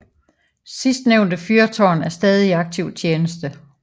Sidstnævnte fyrtårn er stadig i aktiv tjeneste